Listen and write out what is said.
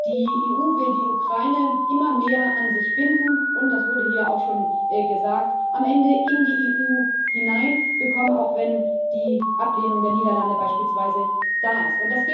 Die EU will die Ukraine immer mehr an sich binden und das wurde hier auch schon gesagt am Ende in die EU hineinbekommen, auch wenn die Ablehnung der Niederlande beispielsweise da ist.